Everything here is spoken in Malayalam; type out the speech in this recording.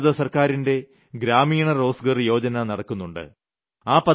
കേന്ദ്രഗവൺമെന്റിന്റെ ഗ്രാമീണ റോസ്ഗാർ യോജന നടക്കുന്നുണ്ട്